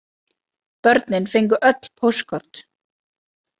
Börnin fengu öll póstkort.